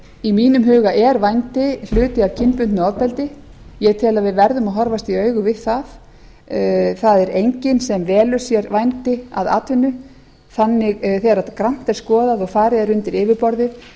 í mínum huga er vændi hluti af kynbundnu ofbeldi ég tel að við verðum að horfast í augu við það það er enginn sem velur sér vændi að atvinnu þegar grannt er skoðað og þegar farið er undir yfirborðið